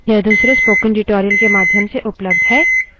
यह भी ध्यान रहे कि लिनक्स case sensitive है